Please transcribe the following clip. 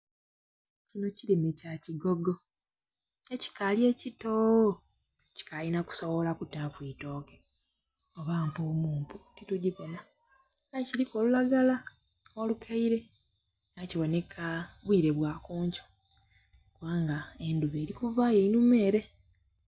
Kino kirime kya kigogo ekikali ekitoo kikali na kusibola kutaku eitooke oba mpuwumpu titujibona aye kiriku olulagala olukaire aye kiboneka bwire bwakunkyo kuba nga endhuba eri kuvayo einhuma ere.